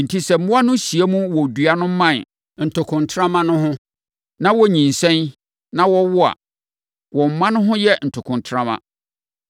Enti, sɛ mmoa no hyia mu wɔ dua mman ntokontrama no ho, na wɔnyinsɛn na wɔwowo a, wɔn mma no ho yɛ ntokontrama.